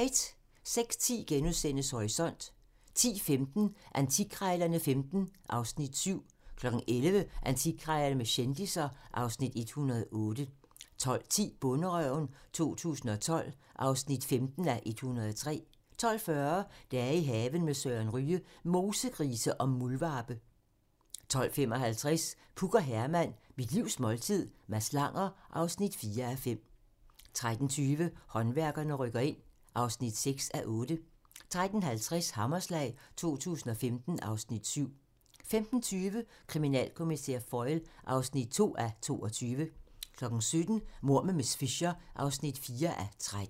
06:10: Horisont * 10:15: Antikkrejlerne XV (Afs. 7) 11:00: Antikkrejlerne med kendisser (Afs. 108) 12:10: Bonderøven 2012 (15:103) 12:40: I haven med Søren Ryge: Mosegrise og muldvarpe 12:55: Puk og Herman - mit livs måltid - Mads Langer (4:5) 13:20: Håndværkerne rykker ind (6:8) 13:50: Hammerslag 2015 (Afs. 7) 15:20: Kriminalkommissær Foyle (2:22) 17:00: Mord med miss Fisher (4:13)